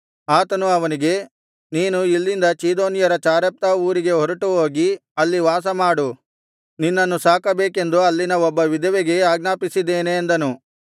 ಆತನು ಅವನಿಗೆ ನೀನು ಇಲ್ಲಿಂದ ಚೀದೋನ್ಯರ ಚಾರೆಪ್ತಾ ಊರಿಗೆ ಹೊರಟುಹೋಗಿ ಅಲ್ಲಿ ವಾಸಮಾಡು ನಿನ್ನನ್ನು ಸಾಕಬೇಕೆಂದು ಅಲ್ಲಿನ ಒಬ್ಬ ವಿಧವೆಗೆ ಆಜ್ಞಾಪಿಸಿದ್ದೇನೆ ಅಂದನು